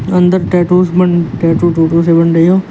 अंदर टैटू टैटू_टूटू से बन रहे हो।